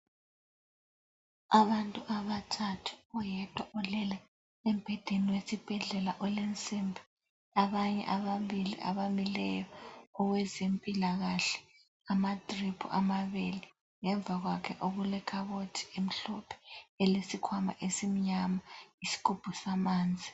Abantu abathathu, oyedwa ulele embhedeni wesibhedlela olensimbi, abanye ababili abamileyo, owezempilakahle, amadriphu amabili ngemva kwakhe okulekhabothi emhlophe, elesikhwama esimnyama lesigubhu samanzi.